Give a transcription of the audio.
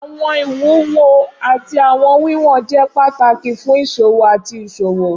Awọn iwuwo ati awọn wiwọn jẹ pataki fun iṣowo ati iṣowo.